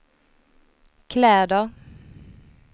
kläder